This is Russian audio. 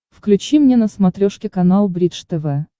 включи мне на смотрешке канал бридж тв